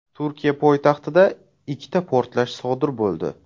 Turkiya poytaxtida ikkita portlash sodir bo‘ldi.